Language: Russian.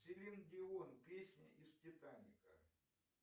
селин дион песня из титаника